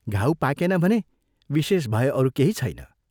घाउ पाकेन भने विशेष भय अरू केही छैन।